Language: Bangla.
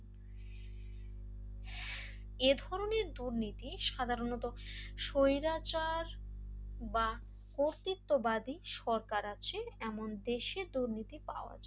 এই ধরনের দুর্নীতি সাধারণত স্বৈরাচার বা কর্তৃত্ববাদী সরকার আছে এমন দেশে দুর্নীতি পাওয়া যায়।